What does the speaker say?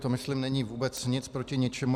To myslím není vůbec nic proti ničemu.